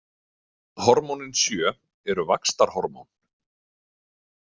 Hormónin sjö eru vaxtarhormón.